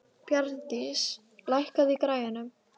Bjarndís, lækkaðu í græjunum.